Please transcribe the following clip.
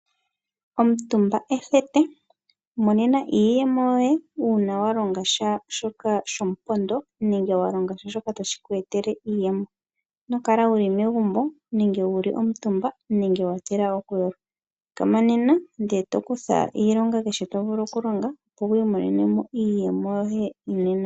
Omutumba ethete. Imonenano iiyemo yoye uuna walonga sha shoka sho mu pondo nenge wa longasha shoka ta shi ku etele iiyemo. Inokala wuli megumbo nenge wa kuutumba nenge wa tila oku yolwa, thikama nena e to kutha iilonga kehe to vulu oku longa opo wi imonenemo iiyemo yoye.